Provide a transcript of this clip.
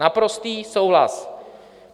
Naprostý souhlas.